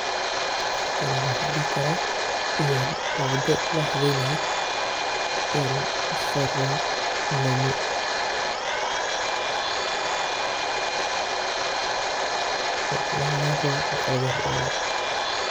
Halkani waxaa ladihi karaa waa wado lahubinayo en lasari rawo lami, wado lahaweyni rawo laqalaweyni rawo waye.